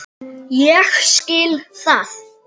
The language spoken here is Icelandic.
Ég skil það.